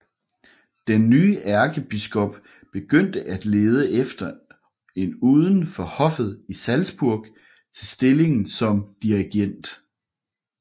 Den nye ærkebiskop begyndte at lede efter en uden for hoffet i Salzburg til stillingen som dirigent